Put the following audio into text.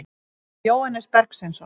Jóhannes Bergsveinsson.